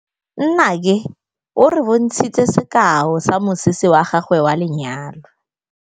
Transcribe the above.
Nnake o re bontshitse sekaô sa mosese wa gagwe wa lenyalo.